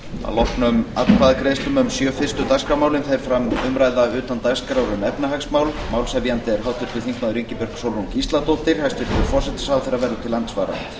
að loknum atkvæðagreiðslum um sjö fyrstu dagskrármálin fer fram umræða utan dagskrár um efnahagsmál málshefjandi er háttvirtur þingmaður ingibjörg sólrún gísladóttir hæstvirtur forsætisráðherra verður til andsvara